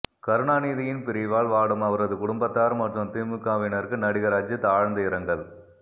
கருணாநிதியின் பிரிவால் வாடும் அவரது குடும்பத்தார் மற்றும் திமுகவினருக்கு நடிகர் அஜித் ஆழ்ந்த இரங்கல்